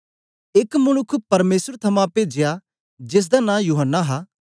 एक मनुक्ख परमेसर थमां पेजया जेसदा नां यूहन्ना हा